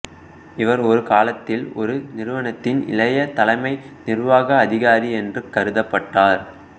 இவர் ஒரு காலத்தில் ஒரு நிறுவனத்தின் இளைய தலைமை நிர்வாக அதிகாரி என்று கருதப்பட்டார்